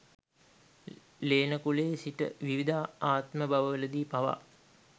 ලේන කුලේ සිට විවිධ ආත්මභවවලදී පවා